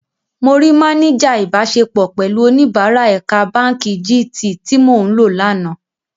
Mo rí máníjà ìbáṣepọ̀ pẹ̀lú oníbàárài ẹ̀ka báǹkì jí-Tiì tí mò ń lò lánàá.